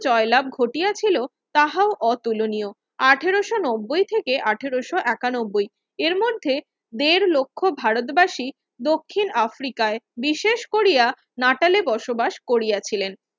জয় লাভ ঘটিয়াছিল তাহাও অতুলনীয় আঠারোশো নব্বই থেকে আঠারোশো একানব্বই এর মধ্যে দেড় লক্ষ ভারতবার্ষী দক্ষিণ আফ্রিকায় বিশেষ করিয়া বসবাস করিয়াছিলেন